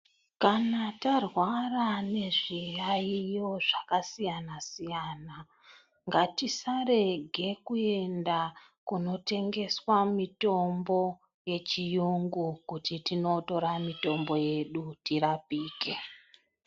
Kana tarwara nezviyayiyo zvakasiyana siyana, ngatisarege kuyenda kunotengeswa mitombo yechiyungu kuti tinotora mitombo yedu tirapike.